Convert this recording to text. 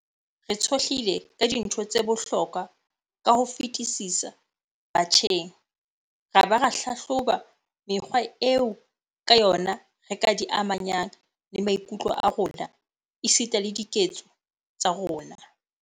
Re tshohlile ka dintho tse bohlokwa ka ho fetisisa batjheng ra ba ra hlahloba mekgwa eo ka yona re ka di amanyang le maikutlo a rona esita le diketso tsa rona.